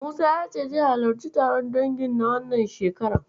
Musa ya ce zai halarci taron dangin na wannan shekarar.